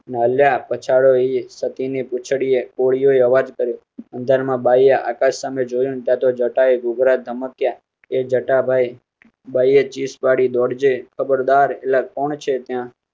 હાલ્યા પછાડીએ સતી ની પૂંછડી એ કોળીઓ અવાજ કર્યો અંધારામાં બાયી સામે જોયું ત્યાં તો તો જટા ગુગરા ઘમક્યા એ જટા ભાઈ બાઈએ ચીસ પાડી દોડ જે ખબર દર એલ કોણછે ત્યાં